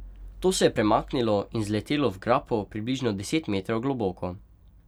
To se je premaknilo in zletelo v grapo približno deset metrov globoko.